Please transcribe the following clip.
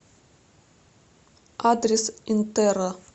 адрес интерра